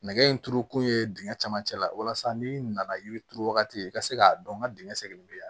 Nɛgɛ in turuko ye dingɛ camancɛ la walasa n'i nana yiri turu wagati i ka se k'a dɔn n ka dingɛ seginnen bɛ yan